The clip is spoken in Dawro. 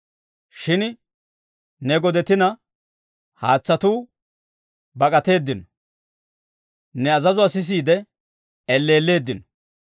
Shin ne godetina haatsatuu bak'ateeddino; ne azazuwaa sisiide, elleelleeddino.